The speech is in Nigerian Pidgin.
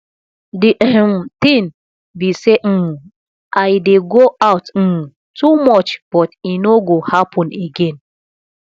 the um thing be say um i dey go out um too much but e no go happen again